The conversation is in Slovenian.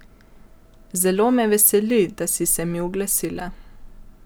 Zelo me veseli, da si se mi oglasila.